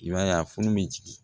I b'a ye a funu bɛ jigin